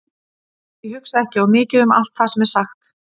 Ég hugsa ekki of mikið um allt það sem er sagt.